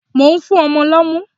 Mò ń fún ọmọ lọ́mú.